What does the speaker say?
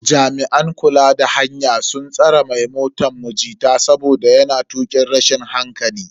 Jami'an kula da hanya sun tsare mai motan mu jita saboda yana tukin rashin hankali.